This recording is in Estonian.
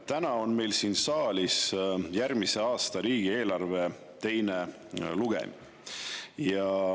Täna on meil siin saalis järgmise aasta riigieelarve teine lugemine.